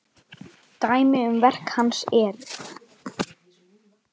Dæmi um verk hans eru